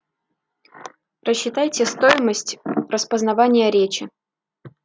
рассчитайте стоимость распознавания речи